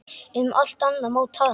Um allt annað má tala.